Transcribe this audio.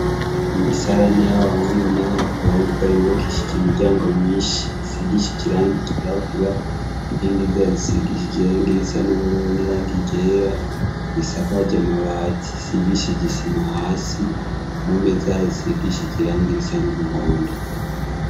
Imisarani y'abahungu n'abakobwa ribakishija imiryango myinshi isigisha ijiranga igiragura ingi zazisigisha ijirangirisa n'ubururu n'iranga igera risakaja amabati sigishi jisima hasi mo me zazisigisha ijirangirisa n'umuhondo.